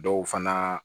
Dɔw fana